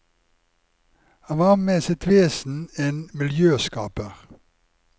Han var med sitt vesen en miljøskaper.